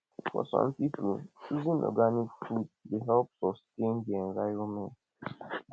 for some pipo choosing organic food dey help sustain di environment